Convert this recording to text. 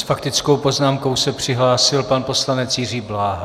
S faktickou poznámkou se přihlásil pan poslanec Jiří Bláha.